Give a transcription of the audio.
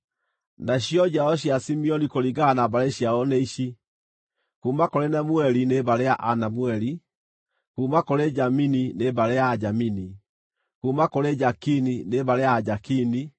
Nacio njiaro cia Simeoni kũringana na mbarĩ ciao nĩ ici: kuuma kũrĩ Nemueli, nĩ mbarĩ ya Anemueli; kuuma kũrĩ Jamini, nĩ mbarĩ ya Ajamini; kuuma kũrĩ Jakini, nĩ mbarĩ ya Ajakini;